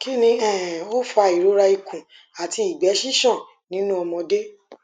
kini um o fa irora ikun ati igbe sisan ni nu omode